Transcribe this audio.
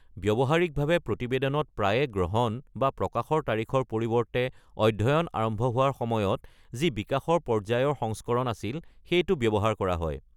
ব্যৱহাৰিকভাৱে প্ৰতিবেদনত প্ৰায়ে গ্ৰহণ বা প্ৰকাশৰ তাৰিখৰ পৰিৱৰ্তে অধ্যয়ন আৰম্ভ হোৱাৰ সময়ত যি বিকাশৰ পৰ্য্য়ায়ৰ সংস্কৰণ আছিল সেইটো ব্যৱহাৰ কৰা হয়।